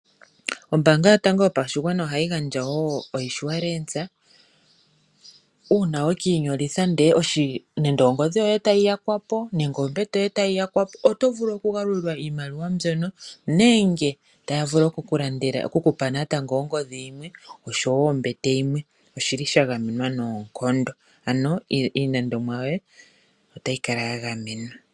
Ombaanga yotango yopashigwana ohayi gandja wo ekwashilipaleko. Uuna wa kwashilipalekitha iinima yoye ngaashi nande ongodhi nenge ombete ndele tayi yakwapo, oto vulu oku galulilwa iimaliwa mbyono nenge to pewa ongodhi nenge ombete yimwe, ano iilandomwa yoye otayi kala ya gamenwa.